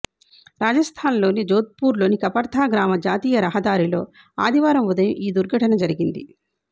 రాజస్థాన్లోని జోథ్పూర్లోని కపర్థ గ్రామ జాతీయ రహ దారిలో ఆదివారం ఉదయం ఈ దుర్ఘటన జరిగింది